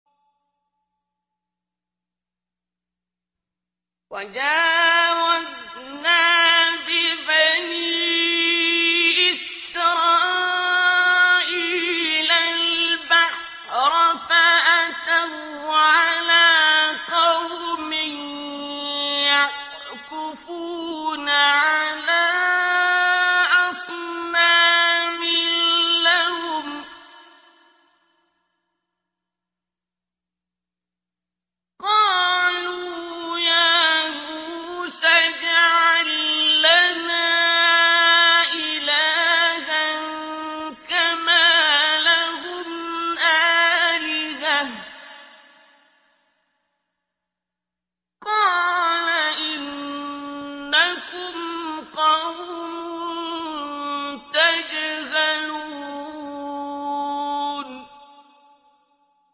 وَجَاوَزْنَا بِبَنِي إِسْرَائِيلَ الْبَحْرَ فَأَتَوْا عَلَىٰ قَوْمٍ يَعْكُفُونَ عَلَىٰ أَصْنَامٍ لَّهُمْ ۚ قَالُوا يَا مُوسَى اجْعَل لَّنَا إِلَٰهًا كَمَا لَهُمْ آلِهَةٌ ۚ قَالَ إِنَّكُمْ قَوْمٌ تَجْهَلُونَ